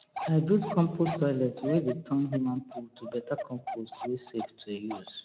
i build compost toilet wey dey turn human poo to better compost wey safe to use